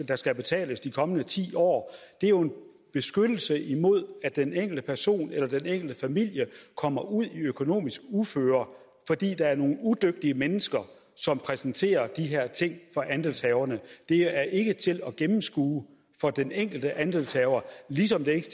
der skal betales de kommende ti år det er jo en beskyttelse imod at den enkelte person eller den enkelte familie kommer ud i økonomisk uføre fordi der er nogle udygtige mennesker som præsenterer de her ting for andelshaverne det er ikke til at gennemskue for den enkelte andelshaver ligesom det ikke